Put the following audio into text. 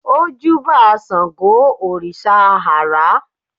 ó júbà sángo òrìṣà àrá